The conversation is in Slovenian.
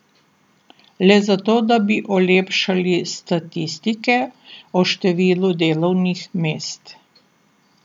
Le zato, da bi olepšali statistike o številu delovnih mest.